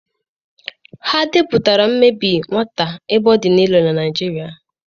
Ha depụtara imebi nwata ebe ọ dị elu na Naịjirịa?